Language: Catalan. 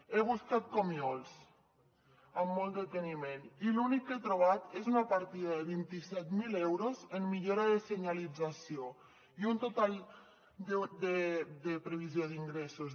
he buscat comiols amb molt deteniment i l’únic que he trobat és una partida de vint set mil euros en millora de senyalització i un total de previsió d’ingressos